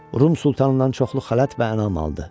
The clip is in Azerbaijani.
Rum sultanından çoxlu xələt və ənam aldı.